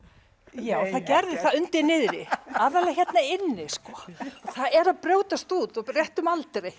já það gerði það undir niðri aðallega hérna inni sko það er að brjótast út á réttum aldri